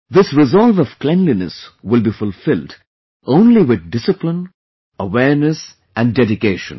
This resolve of cleanliness will be fulfilled only with discipline, awareness and dedication